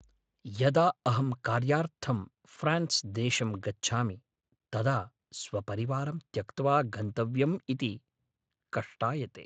यदा अहं कार्यार्थं फ्रान्स्देशं गच्छामि तदा स्वपरिवारं त्यक्त्वा गन्तव्यमिति कष्टायते।